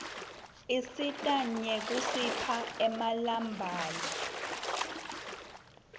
isisita nyekusipha emabalaue